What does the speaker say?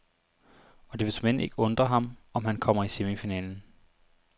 Og det vil såmænd ikke undre ham, om han kommer i semifinalen.